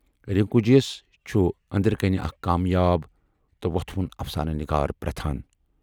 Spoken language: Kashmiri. رِنکو جِیَس چھُ ٲندرٕ کَنہِ اَکھ کامیاب تہٕ وۅتھٕ وُن اَفسانہٕ نِگار پرتھان۔